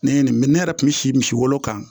Ne ye nin ne yɛrɛ kun mi si misi wolo kan